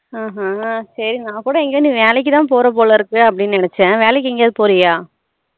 ஹம் ஹம் சரி நா கூட எங்கயோ நீ வேலைக்கு தான் போற போல இருக்கு அப்படின்னு நினச்சேன் வேலைக்கு எங்கயாச்சும் போரயா